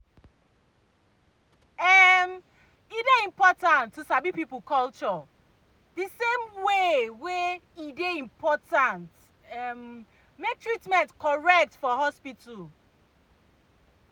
em e dey important to sabi people culture the same way e dey important em make treatment correct for hospital.